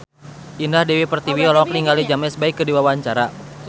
Indah Dewi Pertiwi olohok ningali James Bay keur diwawancara